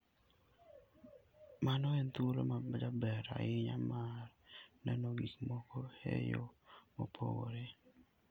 Mano en thuolo majaber ahinya mar neno gik moko e yo mopogore.